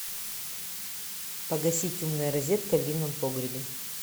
погасить умная розетка в винном погребе